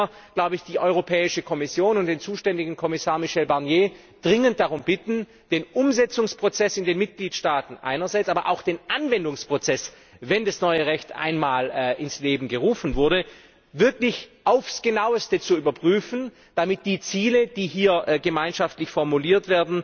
Da muss man die Europäische Kommission und den zuständigen Kommissar, Michel Barnier, dringend darum bitten, den Umsetzungsprozess in den Mitgliedstaaten einerseits, aber auch den Anwendungsprozess wenn das neue Recht einmal ins Leben gerufen wurde wirklich aufs Genaueste zu überprüfen, damit die Ziele, die hier gemeinschaftlich formuliert